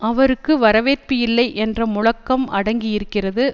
அவருக்கு வரவேற்பு இல்லை என்ற முழக்கம் அடங்கியிருக்கிறது